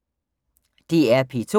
DR P2